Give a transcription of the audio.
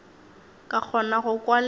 ka kgona go kwa le